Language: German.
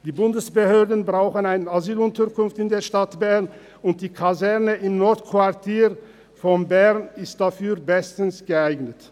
Die Bundesbehörden brauchen eine Asylunterkunft in der Stadt Bern, und die Kaserne im Nordquartier von Bern ist dafür bestens geeignet.